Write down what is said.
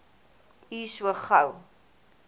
u so gou